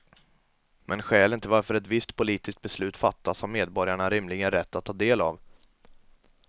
Men skälen till varför ett visst politiskt beslut fattas har medborgarna rimligen rätt att ta del av.